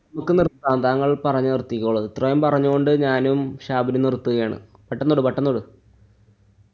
നമുക്ക് നിര്‍ത്താം. താങ്കള്‍ പറഞ്ഞു നിര്‍ത്തിക്കോളൂ. എത്രയും പറഞ്ഞു കൊണ്ട് ഞാനും ഷാബിനും നിര്‍ത്തുകയാണ്. പെട്ടന്ന് വിട് പെട്ടന്ന് വിട്